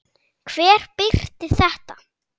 Hver birti þetta?